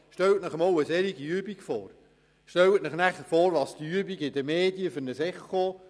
Stellen Sie sich vor, welches Echo diese Übung in den Medien auslösen würde!